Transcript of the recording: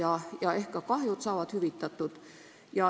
Ehk saavad ka kahjud hüvitatud.